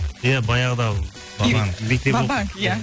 иә баяғыда ва банк мектеп оқып ва банк иә